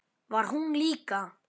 Var hún líka?